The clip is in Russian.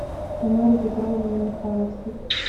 тамаре петровне михайловской